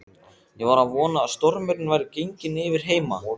Ég var að vona að stormurinn væri genginn yfir heima.